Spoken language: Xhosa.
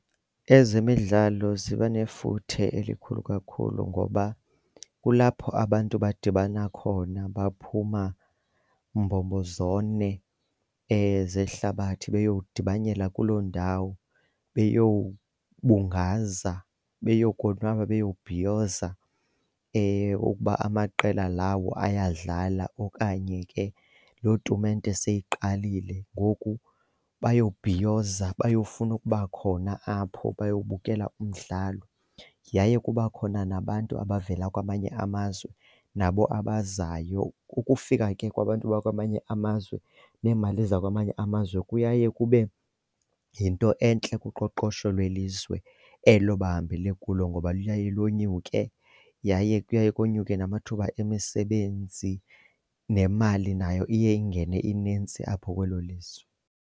Ezemidlalo ziba nefuthe elikhulu kakhulu ngoba kulapho abantu badibana khona, baphuma mbombo zone zehlabathi beyodibanela kuloo ndawo beyobungaza beyokonwaba bebhiyoza okuba amaqela lawo ayadlala okanye ke lo tumente seyiqalile. Ngoku bayobhiyoza bayofuna ukuba khona apho bayobukela umdlalo. Yaye kuba khona nabantu abavela kwamanye amazwe nabo abazayo, ukufika ke kwabantu bakwamanye amazwe neemali zakwamanye amazwe kuye kube yinto entle kuqoqosho lwelizwe elo bahambele kulo ngoba luye lonyuke yaye kuye konyuke namathuba emisebenzi nemali nayo iye ingene inintsi apho kwelo lizwe.